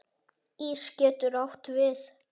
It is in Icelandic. Ís getur átt við